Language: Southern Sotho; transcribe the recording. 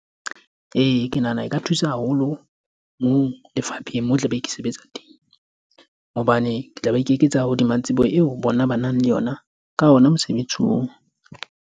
Ee, ke nahana e ka thusa haholo moo lefapheng mo ke tla be ke sebetsa teng. Hobane ke tla be ke eketsa hodima tsebo eo bona ba nang le yona ka ona mosebetsi oo.